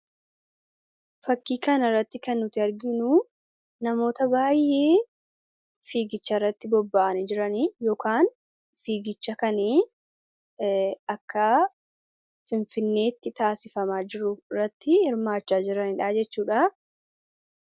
Fakkii kana irratti kan nuti arginu namoota baay'ee fiigicha irratti bobba'anii jiranii yookin fiigicha kan akka finfineetti taasifamaa jiru irratti hirmaachaa jiranidhaa jechuudha.